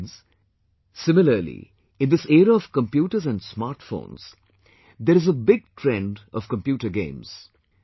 Friends, similarly in this era of computers and smartphones, there is a big trend of computer games